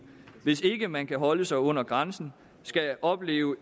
hvis ikke man kan holde sig under grænsen skal opleve